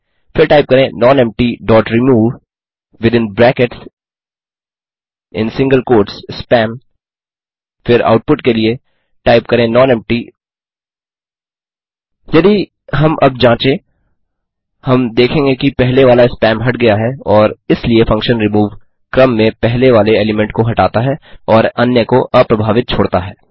फिर टाइप करें nonempty dot remove within brackets in single quotes spam फिर output के लिए टाइप करें नॉनेम्पटी यदि हम अब जाँचें हम देखेंगे कि पहले वाला स्पैम हट गया है और इसलिए फंक्शन रिमूव क्रम में पहले वाले एलीमेंट को हटाता है और अन्य को अप्रभावित छोड़ता है